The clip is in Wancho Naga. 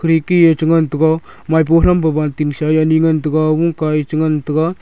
eki cha ngan taga maipo thampo banting sa yani ngan taga oka e cha ngan taga.